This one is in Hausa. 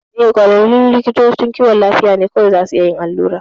Eh, ƙwararrun likitocin kiwon lafiya ne kawai zasu a iya yin allura.